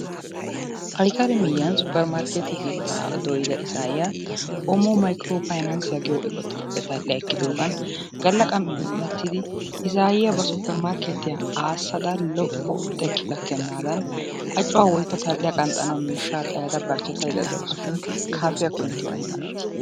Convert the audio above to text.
Ayikali miyyiyan supper markkeete keettaa dooyida izaayyiya "Omo mayikiro fayinansiya" giyo eqotaappe tal'a ekkidoogan Galla qammi un'ettidi izaayyiya ba supper markkeetiya aassada lo'o xekki gakkennaadan acuwa woyikko tal'iya qanxxanawu xayada barchchetayidda dawusushin kaafiyakko inttiyo ay malati?